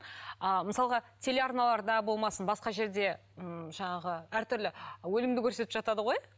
ал мысалға телеарналарда болмасын басқа жерде ыыы жаңағы әртүрлі өлімді көрсетіп жатады ғой